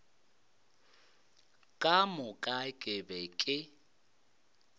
ka moka ke be ke